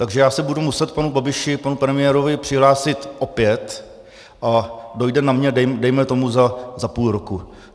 Takže já se budu muset panu Babiši, panu premiérovi, přihlásit opět a dojde na mě dejme tomu za půl roku.